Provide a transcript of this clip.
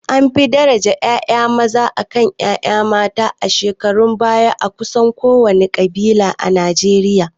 An fi daraja ƴaƴa maza akan ƴaƴa mata a shekarun baya a kusan kowane ƙabila a Najeriya